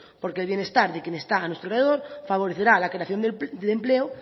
porque el bienestar de quien está a nuestro alrededor favorecerá la creación de empleo